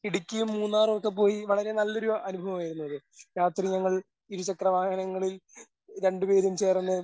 ഇടുക്കിയും മൂന്നാറൊക്കെ പോയി വളരെ നല്ലൊരു അനുഭവം ആയിരുന്നു അത്. രാത്രി ഞങ്ങൾ ഇരുചക്രവാഹനങ്ങളിൽ രണ്ട് പേരും ചേർന്ന്